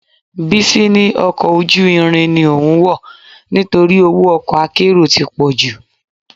Bísí ní ọkọ̀ ojú irin ni òun wọ̀ nítorí owó ọkọ akérò ti pọ̀jù